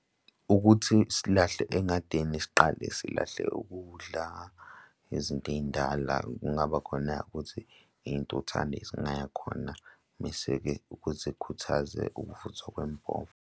Ukuthi silahle engadini siqale silahle ukudla, izinto ey'ndala kungaba khona ukuthi iy'ntuthane zingaya khona. Mese-ke ukuzikhuthaze ukuvuthwa kwempova.